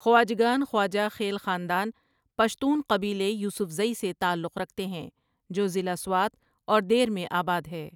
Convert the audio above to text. خواجگان خواجہ خیل خاندان، پشتون قبیلے یوسفزئی سے تعلق رکھتے ہیں جو ضلع سوات اور دیر میں آبادہے ۔